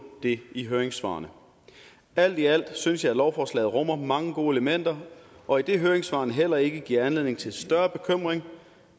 det i høringssvarene alt i alt synes jeg at lovforslaget rummer mange gode elementer og idet høringssvarene heller ikke giver anledning til større bekymring